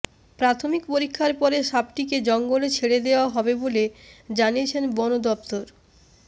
প্রাথমিক পরীক্ষার পরে সাপটিকে জঙ্গলে ছেড়ে দেওয়া হবে জানিয়েছে বন দফতর